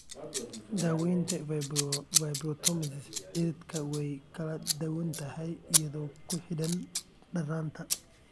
Daawaynta fibromatosis cirridka way kala duwan tahay iyadoo ku xidhan darnaanta.